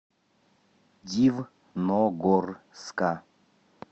дивногорска